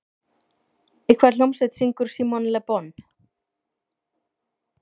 Í hvaða hljómsveit syngur Simon Le Bon?